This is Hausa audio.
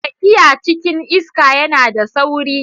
Tafiya cikin iska yana da sauri.